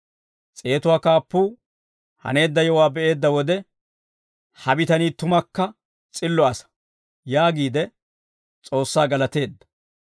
S'eetuwaa kaappuu haneedda yewuwaa be'eedda wode, «Ha bitanii tumakka s'illo asaa» yaagiide S'oossaa galateedda.